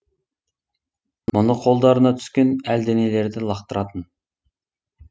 мұны қолдарына түскен әлденелерді лақтыратын